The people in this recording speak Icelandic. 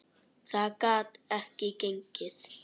Það gat ekki gengið.